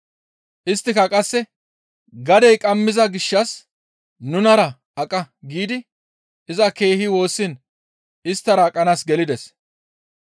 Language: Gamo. Isttika qasse, «Gadey qammiza gishshas nunara aqa» giidi iza keehi woossiin isttara aqanaas gelides.